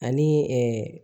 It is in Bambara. Ani